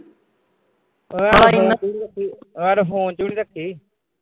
ਐ ਤਾਂ phone ਵਿਚ ਵੀ ਨੀ ਰੱਖੀ।